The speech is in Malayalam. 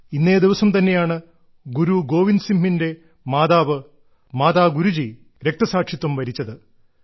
ഇന്നേ ദിവസം തന്നെയാണ് ഗുരു ഗോവിന്ദ് സിംഹിന്റെ മാതാവ് മാതാ ഗുജ്രി രക്തസാക്ഷിത്വം വരിച്ചത്